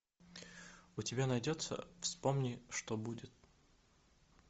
у тебя найдется вспомни что будет